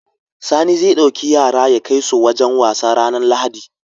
Sani zai dauki yara yakai su wajan wasa ranar lahadi